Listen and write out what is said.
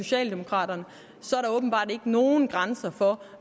socialdemokraterne åbenbart ikke nogen grænser for